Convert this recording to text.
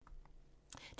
DR2